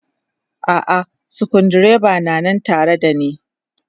A'a sukuru dreban na nan tare da ne.